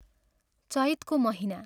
चैतको महीना।